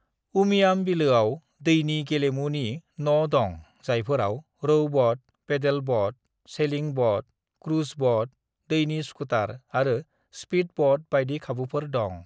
"उमियाम बिलोयाव दैनि गेलेमुनि न' दं जायफोराव रौ boat, paddle boat, sailing boat, cruise boat, दैनि स्कुटार आरो स्पिद ब'ट बायदि खाबुफोर दं ।"